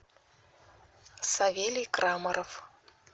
савелий крамаров